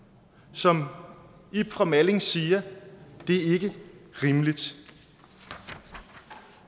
som ib fra malling siger det er ikke rimeligt